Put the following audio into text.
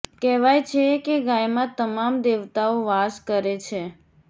કહેવાય છે કે ગાયમાં તમામ દેવતાઓ વાસ કરે છે